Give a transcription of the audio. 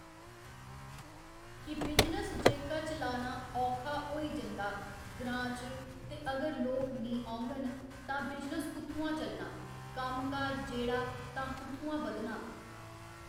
कि बिजनेस जेह्का चलाना औक्खा होई जंदा ग्रांऽ च ते अगर लोक निं ओङन तां बिजनेस कुत्थुआं चलना कम्म काज जेह्ड़ा तां कुत्थुआं बधना